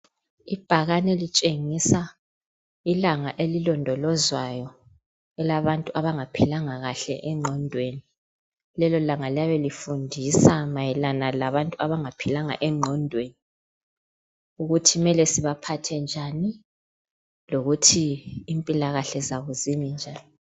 Ibhakane litshengisa ilanga elilondolozwayo elabantu abangaphilanga kahle engqondweni. Lelolanga liyabe lifundisa mayelana labantu abangaphilanga engqondweni ukuthi mele sibaphathe njani lokuthi impilakahle zabo ziminjani.